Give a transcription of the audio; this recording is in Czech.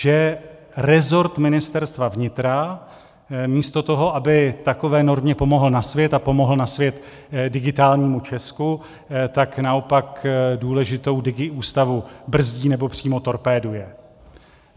Že resort Ministerstva vnitra místo toho, aby takové normě pomohl na svět a pomohl na svět Digitálnímu Česku, tak naopak důležitou digiústavu brzdí, nebo přímo torpéduje.